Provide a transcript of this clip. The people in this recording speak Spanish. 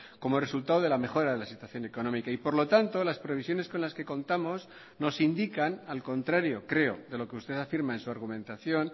como resultado de la mejora de la situación económica y por lo tanto las previsiones con las que contamos nos indican al contrario creo de lo que usted afirma en su argumentación